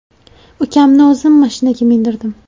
Ukamni o‘zim mashinaga mindirdim.